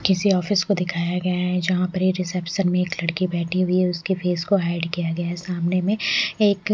किसी ऑफिस को दिखाया गया है जहां पे रिसेप्शन में एक लड़की बैठी हुई है उसके फेस को हाईड किया गया सामने में एक--